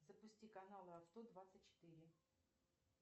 запусти канал авто двадцать четыре